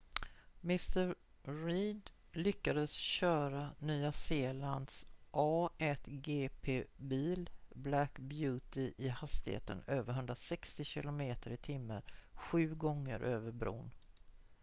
mr reid lyckades köra nya zeelands a1gp bil black beauty i hastigheter över 160 km/t sju gånger över bron